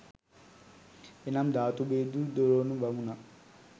එනම් ධාතු බෙදූ ද්‍රෝණ බමුණා